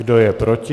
Kdo je proti?